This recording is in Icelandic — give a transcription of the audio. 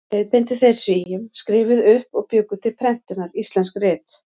Leiðbeindu þeir Svíum, skrifuðu upp og bjuggu til prentunar íslensk rit.